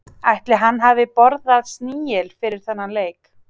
Ætli hann hafi borðað snigil fyrir þennan leik?